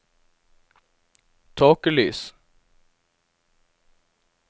tåkelys